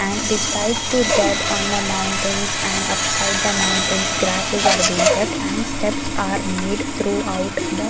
and beside to that on the mountains and upside the mountains grasses are being kept and steps are made through out the--